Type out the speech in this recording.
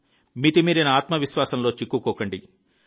మితిమీరిన ఆత్మవిశ్వాసంలో చిక్కుకోవద్దు